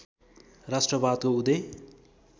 राष्ट्रवादको उदय